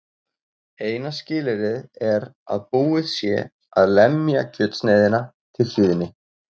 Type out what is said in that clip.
Eina skilyrðið er að búið sé að lemja kjötsneiðina til hlýðni.